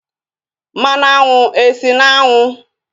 Mmanụ aṅụ esi n'aṅu?